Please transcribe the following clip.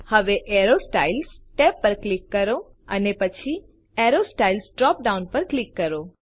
હવે arrow styles tab પર click કરો અને પછી એરો સ્ટાઇલ્સ ડ્રોપ ડાઉન પર ક્લિક કરો